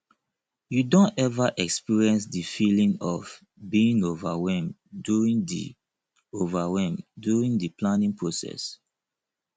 you don ever experience di feeling of being overwhelmed during di overwhelmed during di planning process